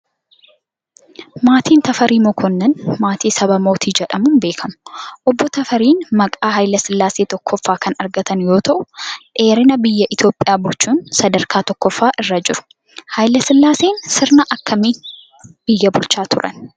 Maatiin Tafarii Mokonnoon maatii saba Mootii jedhamuun beekamu. Obbo Tafariin maqaa Haayile Sillaasee Tokkoffaa kan argatan yoo ta'u, dheerina biyya Itoophiyaa bulchuun sadarkaa tokkoffaa irra jiru. Haayile sillaaseen sirna akkamiin biyya kana bulchan?